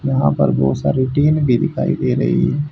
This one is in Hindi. यहां पर बहुत सारी टीन भी दिखाई दे रही हैं।